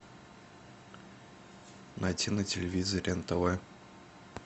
найти на телевизоре нтв